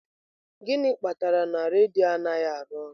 Gịnị kpatara na redio anaghị arụ ọrụ?